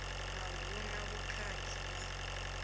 a hu na vhukhakhi na